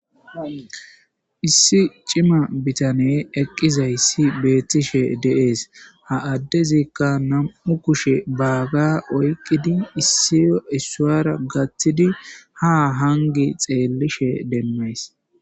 Issi cima bitane eqqizayssi beettishe de'ees. Ha addezikka nam7u kushe baaga oyqqidi issi issuwara gathtidi ha hanggi xeellishe demmays.